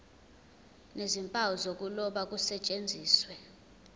nezimpawu zokuloba kusetshenziswe